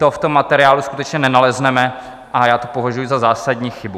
To v tom materiálu skutečně nenalezneme a já to považuji za zásadní chybu.